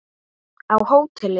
Á hóteli?